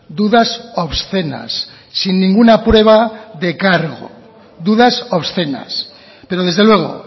dudas obscenas sin ninguna prueba de cargo dudas obscenas pero desde luego